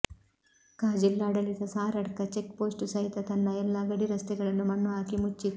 ಕ ಜಿಲ್ಲಾಡಳಿತ Saradka check post ಸಹಿತ ತನ್ನ ಎಲ್ಲಾ ಗಡಿ ರಸ್ತೆಗಳನ್ನು ಮಣ್ಣು ಹಾಕಿ ಮುಚ್ಚಿತ್ತು